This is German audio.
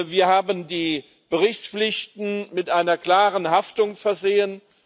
Wir haben die Berichtspflichten mit einer klaren Haftung versehen.